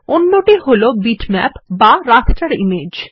অন্যটি হল বিটম্যাপ বা রাস্টার ইমেজ